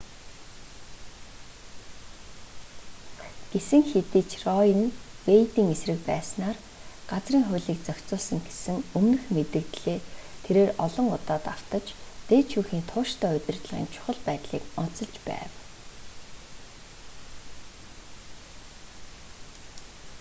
гэсэн хэдий ч рое нь вэйдийн эсрэг байснаар газрын хуулийг зохицуулсан гэсэн өмнөх мэдэгдлээ тэрээр олон удаа давтаж дээд шүүхийн тууштай удирдлагын чухал байдлыг онцолж байв